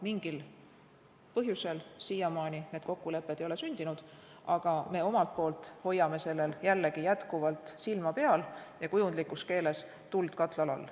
Mingil põhjusel siiamaani ei ole need kokkulepped sündinud, aga me omalt poolt hoiame sellel jällegi jätkuvalt silma peal, kujundlikus keeles öeldes, hoiame tuld katlal all.